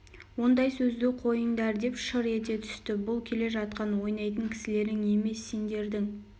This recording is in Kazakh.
ондай сөзді қойыңдар деп шыр ете түсті бұл келе жатқан ойнайтын кісілерің емес сеңдердің